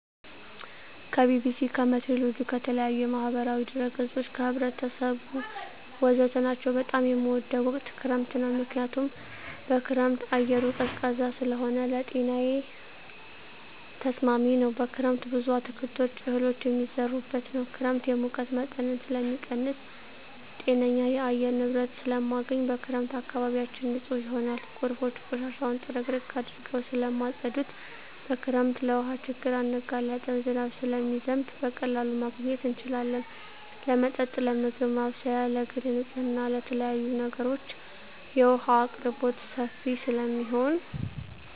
ከቢቢሲ, ከሜትሮሎጅ, ከተለያዪ የማህበራዊ ድረ ገፆች , ከህብረተሰቡ ወዘተ ናቸው። በጣም የምወደው ወቅት ክረምት ነው ምክንያቱም በክረምት አየሩ ቀዝቃዛ ስለሆነ ለጤናዬ ተስማሚ ነው። በክረምት ብዙ አትክልቶች እህሎች የሚዘሩበት ነው። ክረምት የሙቀት መጠንን ስለሚቀንስ ጤነኛ የአየር ንብረት ስለማገኝ። በክረምት አካባቢያችን ንፁህ ይሆናል ጎርፎች ቆሻሻውን ጥርግርግ አድርገው ስለማፀዱት። በክረምት ለውሀ ችግር አንጋለጥም ዝናብ ስለሚዘንብ በቀላሉ ማግኘት እንችላለን ለመጠጥ ለምግብ ማብሰያ ለግል ንፅህና ለተለያዪ ነገሮች የውሀ አቅርቦት ሰፊ ስለሚሆን።